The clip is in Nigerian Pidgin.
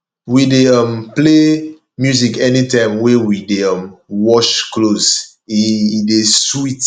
we dey um play music anytime wey we dey um wash clothes e e dey sweet